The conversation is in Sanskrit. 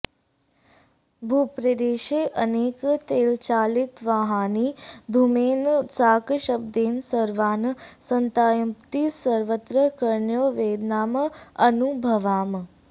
भूप्रदेशे अनेक तैलचालितवाहनानि धूमेन साकं शब्देन सर्वान् सन्तापयन्ति सर्वत्र कर्णयोः वेदनाम् अनुभवामः